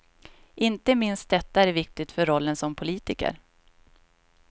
Inte minst detta är viktigt för rollen som politiker.